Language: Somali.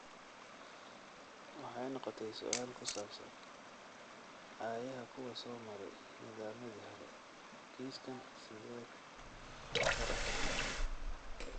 Waxay noqotay su'aal ku saabsan aayaha kuwa soo maray nidaamyadii hore, kiiskan sidheed afar afar mid.